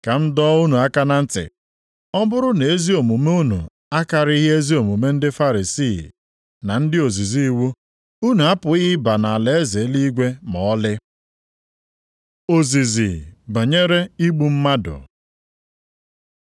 Ka m dọọ unu aka na ntị. Ọ bụrụ na ezi omume unu akarịghị ezi omume ndị Farisii na ndị ozizi iwu, unu apụghị ịba nʼalaeze eluigwe ma ọlị. Ozizi banyere igbu mmadụ